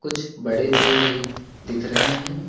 कुछ बड़े पेड़ भी दिख रहे हैं।